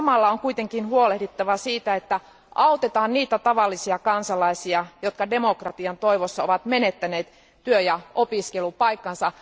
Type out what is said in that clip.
Samalla on kuitenkin huolehdittava siitä, että autetaan niitä tavallisia kansalaisia, jotka demokratian toivossa ovat menettäneet työ ja opiskelupaikkansa.